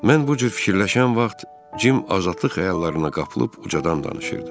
Mən bu cür fikirləşən vaxt Cim azadlıq xəyallarına qapılıb ucadan danışırdı.